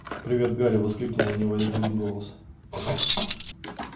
привет гарри воскликнули они в один голос